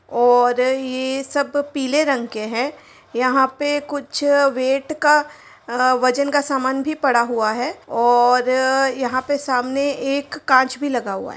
और ये सब पीले रंग के हैं। यहाँ पे कुछ वेट का वजन का समान भी रखा हुआ है और यहाँ पे सामने एक काँच भी लगा हुआ है।